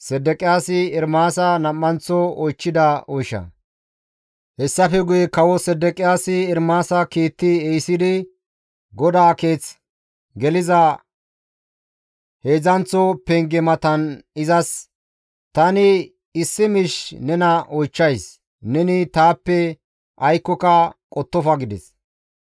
Hessafe guye kawo Sedeqiyaasi Ermaasa kiitti ehisidi GODAA Keeth geliza heedzdzanththo penge matan izas, «Tani issi miish nena oychchays; neni taappe aykkoka qottofa» gides.